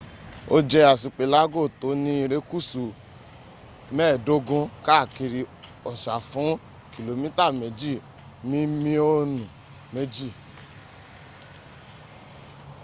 o je asipelago to ni irekusu 15 kaakiri osa fun km2 mimionu 2